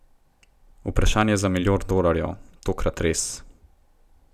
Vprašanje za milijon dolarjev, tokrat res ...